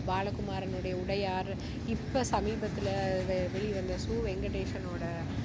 பாலகுமாரனுடைய உடையார். இப்போ சமீபத்துல வெ~வெளிவந்த சு. வெங்கடேசனோட